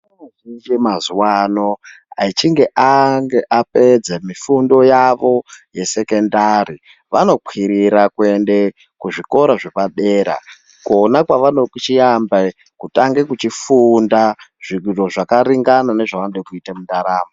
Vana vanotatiche mazuva ano achinge apedza mifundo yava yesekondari vanokwirre kuenda kuzvikora zvepadera kona pavanochiamba kutange kufunda zviro zvakaringana nezvavanoda kuita mundaramo.